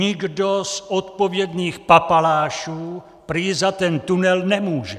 Nikdo z odpovědných papalášů prý za ten tunel nemůže.